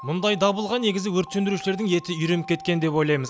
мұндай дабылға негізі өрт сөндірушілердің еті үйреніп кеткен деп ойлаймыз